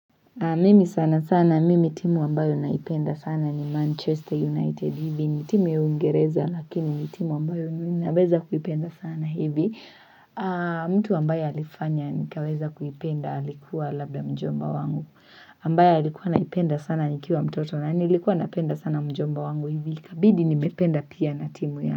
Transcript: Mimi sana sana, mimi timu ambayo naipenda sana ni Manchester United hivi. Ni timu ya uingereza, lakini ni timu ambayo ninaweza kuipenda sana hivi. Mtu ambaye alifanya, nikaweza kuipenda, alikuwa labda mjomba wangu. Ambaye alikuwa anaipenda sana, nikiwa mtoto na nilikuwa napenda sana mjomba wangu hivi. Ikabidi nimependa pia na timu yake.